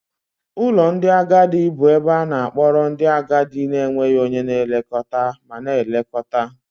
Ụlọ ndị agadi bụ ebe a na-akpọrọ ndị agadi na-enweghị onye na-elekọta ma na-elekọta.